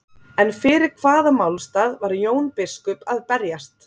En fyrir hvaða málstað var Jón biskup að berjast?